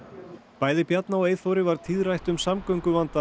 bæði Bjarna og Eyþóri var tíðrætt um samgönguvandann